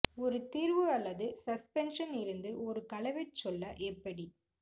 ஒரு தீர்வு அல்லது சஸ்பென்ஷன் இருந்து ஒரு கலவை சொல்ல எப்படி